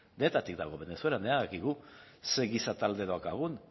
denetatik dago venezuelan badakigu ze giza talde daukagun